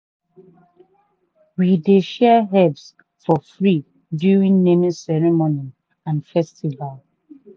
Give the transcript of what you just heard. we dey share herbs for free during name ceremony and festival.